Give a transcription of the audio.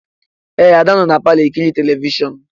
Ee, Ada nọ na palọ ekiri telivishọn